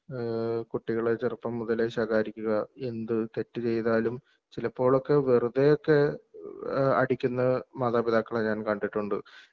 ഏഹ്ഹ് കുട്ടികളെ ചെറുപ്പംമുതല് ശകാരിക്കുക എന്ത് തെറ്റുചെയ്താലും ചിലപ്പോഴൊക്കെ വെറുതെയൊക്കെ ഏഹ് അടിക്കുന്ന മാതാപിതാക്കളെ ഞാൻ കണ്ടിട്ടൊണ്ട് .